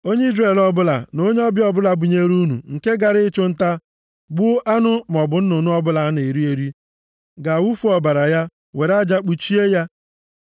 “ ‘Onye Izrel ọbụla, na onye ọbịa ọbụla binyere unu nke gara ịchụ nta, gbuo anụ maọbụ nnụnụ ọbụla a na-eri eri, ga-awụfu ọbara ya were aja kpuchie ya.